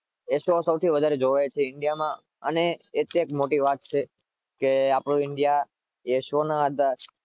એ show સૌથી વધારે જોવાય છે ઇન્ડિયામાં